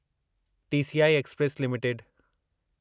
TCI Express limited